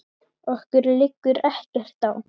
Okkur liggur ekkert á